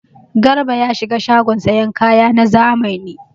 Garba ya shiga shagon sayan kaya na zamani.